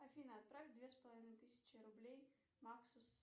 афина отправь две с половиной тысячи рублей максу